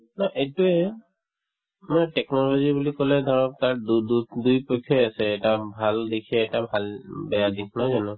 এইটোয়ে মানে technology বুলি কলে ধৰক তাত দু দু দুই পক্ষই আছে এটা ভাল দিশে এটা ভাল বেয়া দিশ নহয় জানো